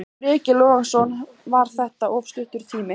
Breki Logason: Var þetta of stuttur tími?